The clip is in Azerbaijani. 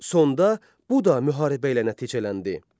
Sonda bu da müharibə ilə nəticələndi.